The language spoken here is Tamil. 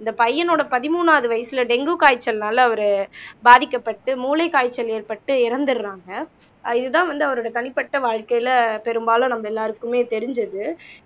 இந்தப் பையனோட பதிமூணாவது வயசுல டெங்கு காய்ச்சல்னால அவரு பாதிக்கப்பட்டு மூளை காய்ச்சல் ஏற்பட்டு இறந்தறாங்க இதுதான் வந்து அவரோட தனிப்பட்ட வாழ்க்கையில பெரும்பாலும் நம்ம எல்லாருக்குமே தெரிஞ்சது